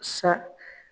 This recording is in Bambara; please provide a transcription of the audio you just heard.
Sa